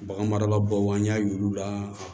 Bagan marala bow an y'a yir'u la